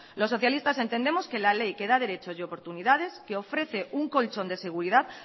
los socialistas entendemos que la ley que da derecho y oportunidades que ofrece un colchón de seguridad